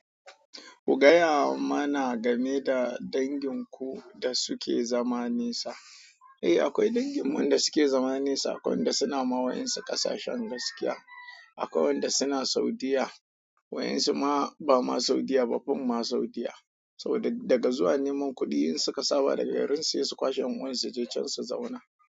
Ku gaya mana gane da dangin ku da suke zama nesa eh, akwai danginmu da suke zama nesa, wanda suna ma wa'insu ƙasashen gaskiya, akwai wanda suna Saudiyya, wa'insu ma ba ma Saudiyya ba, fim ma Saudiyya. To da daga zuwa neman kuɗi, in suka saba da garinsu, he su kwashe ƴan uwan su, suje can su zauna.